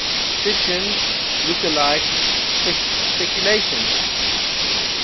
fiction lookalike speculation